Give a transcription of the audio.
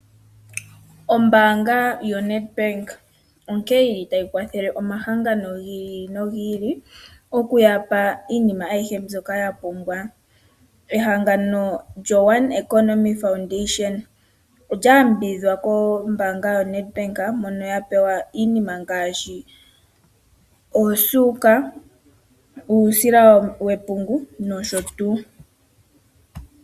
Ombaanga ya Nedbank onkene yili tayi kwathele omahangano gi ili nogi ili, okuyapa iinima ayihe mbyoka taya pumbwa. Ehangano lyo one economy foundation olya yambidhidhwa kombaanga ya Nedbank mono ya pewa iinima ngaashi oosuuka, uusila wepungu nosho tuu.